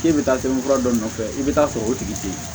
K'e bɛ taa sɛbɛn fura dɔ nɔfɛ i bɛ taa sɔrɔ o tigi tɛ yen